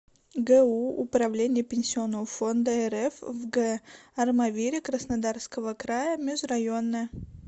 гу управление пенсионного фонда рф в г армавире краснодарского края межрайонное